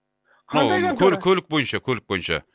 қандай контора көлік бойынша көлік бойынша